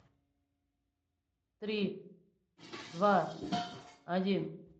три два один